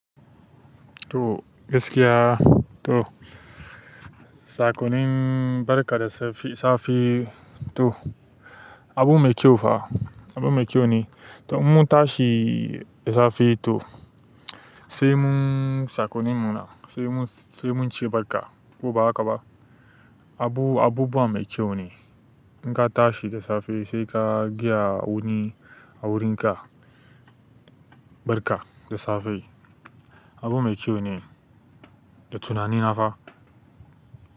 To gaskiya to, sakonin barka da safe, safe to abu mai kyau fa, abu mai kyau ne. To in mun tashi da safe to sai mun sakonimuna sai mun, sai mun ci barka ko ba haka ba. Abu, abubuwa mai kyau ne. In ka tashi da safe sai ka gayawani a wurinka, barka da safe abu mai kyau ne da tunanina fa.